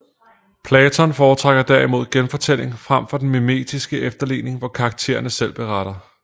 Platon foretrækker derimod genfortælling frem for den mimetiske efterligning hvor karakterne selv beretter